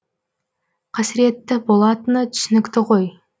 қасіретті болатыны түсінікті ғой